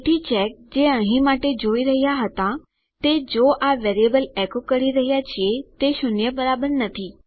તેથી ચેક જે અહીં માટે જોઈ રહ્યા હતા તે જો આ વેરીએબલ એકો કરી રહ્યા છીએ તે શૂન્ય બરાબર નથી